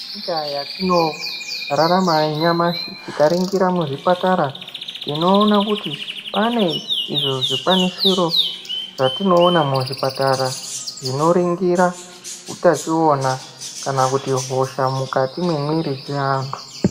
Munyika yatinorarama nyamashi, tikaringira muzvipatara, tinoona kuti, pane izvo zvikwanisiro zvatinoona muzvipatara, zvinoringira utachiona kana kuti hosha, mukati mwemwiri dzeantu.